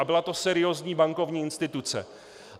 A byla to seriózní bankovní instituce.